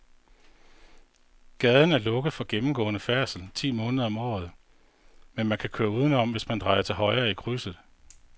Gaden er lukket for gennemgående færdsel ti måneder om året, men man kan køre udenom, hvis man drejer til højre i krydset.